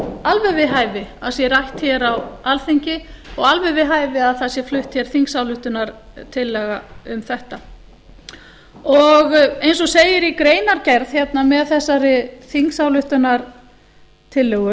alveg við hæfi að sé rætt hér á alþingi og alveg við hæfi að það sé flutt hér þingsályktunartillaga um þetta og eins og segir í greinargerð hérna með þessari þingsályktunartillögu þá